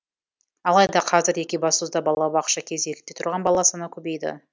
алайда қазір екібастұзда балабақша кезегінде тұрған бала саны көбейді